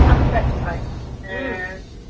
ছাতুটা কি হয় হম